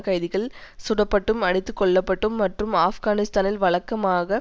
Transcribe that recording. கைதிகள் சுடப்பட்டும் அடித்துக்கொல்லப்பட்டும் மற்றும் ஆப்கானிஸ்தானில் வழக்கமாக